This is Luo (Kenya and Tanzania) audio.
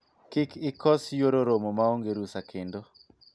kik ikos yuoro romo maonge rusa kendo